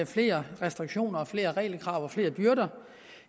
flere restriktioner og flere regelkrav og flere byrder